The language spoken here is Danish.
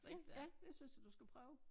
Det ja det synes jeg du skal prøve